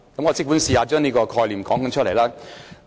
我即管嘗試將這概念說出來。